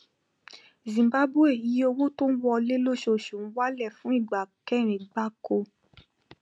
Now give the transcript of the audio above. zimbabwe iye owó tó ń wọlé lóṣooṣù ń wálẹ fún ìgbà kẹrin gbáko